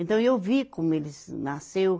Então eu vi como eles nasceu.